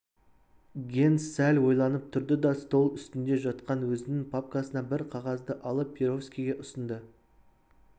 генс сәл ойланып тұрды да стол үстінде жатқан өзінің папкасынан бір қағазды алып перовскийге ұсынды